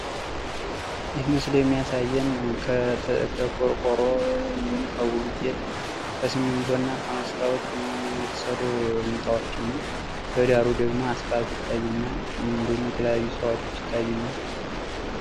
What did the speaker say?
ይህ ምስል የሚያሳየን ከቆርቆሮ፣ ከመስታዎት፣ ከሲሚንቶና ከብሎኬት የተሰሩ ቤቶችን ሲሆን፤ ከጎን አስፋልትና ዛፎች ይታያሉ።